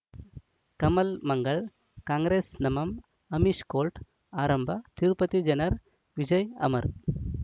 ಕಮಲ್ ಮಂಗಳ್ ಕಾಂಗ್ರೆಸ್ ನಮಃ ಅಮಿಷ್ ಕೋರ್ಟ್ ಆರಂಭ ತಿರುಪತಿ ಜನರ ವಿಜಯ ಅಮರ್